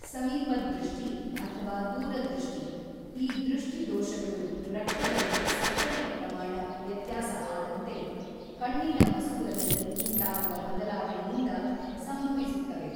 ಸಮೀಪ ದೃಷ್ಟಿ ಅಥವಾ ದೂರದೃಷ್ಟಿ ಈ ದೃಷ್ಟಿ ದೋಷಗಳು ರಕ್ತದಲ್ಲಿ ಸಕ್ಕರೆಯ ಪ್ರಮಾಣ ವ್ಯತ್ಯಾಸ ಅದಂತೆ ಕಣ್ಣಿನ ಮಸೂರದಲ್ಲಿ ಉಂಟಾಗುವ ಬದಲಾವಣೆಯಿಂದ ಸಂಭವಿಸುತ್ತವೆ.